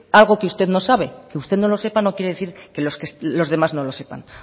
algo que usted no sabe que usted no lo sepan no quiere decir que los demás no lo sepan